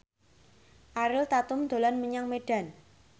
Ariel Tatum dolan menyang Medan